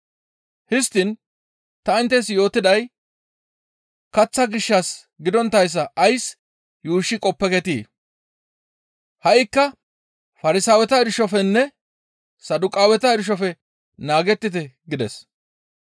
Histtiin ta inttes yootiday kaththa gishshas gidonttayssa ays yuushshi qoppeketii? Ha7ikka Farsaaweta irshofenne Saduqaaweta irshofe naagettite» gides.